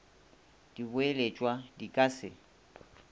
di boeletšwa di ka se